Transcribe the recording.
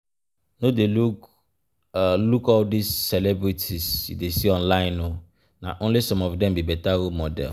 No dey look all look all dis celebrities you dey see online oo, na only some of dem be better role models